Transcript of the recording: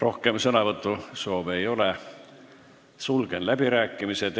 Rohkem sõnavõtusoove ei ole, sulgen läbirääkimised.